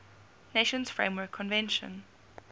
nations framework convention